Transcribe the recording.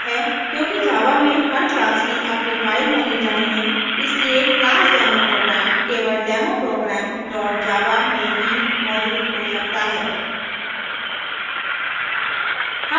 क्योंकि java में हर class की अपनी file होनी चाहिए इसलिए class डेमो प्रोग्राम केवल demo program java में ही मौजूद हो सकता है